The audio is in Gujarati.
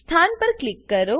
સ્થાન પર ક્લિક કરો